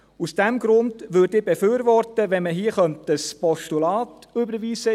Aus diesem Grund würde ich befürworten, wenn man hier ein Postulat überweisen könnte.